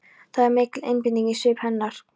Það er mikil einbeiting í svip hennar.